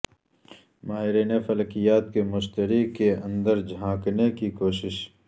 ماہرین فلکیات کی مشتری کے اندر جھانکنے کی کوشش